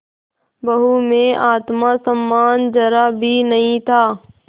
बहू में आत्म सम्मान जरा भी नहीं था